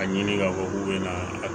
A ɲini k'a fɔ k'u bɛna